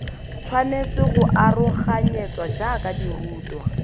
tshwanetse go aroganyetswa jaaka dirutwa